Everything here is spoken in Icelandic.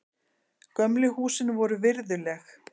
Gömlu húsin voru virðuleg.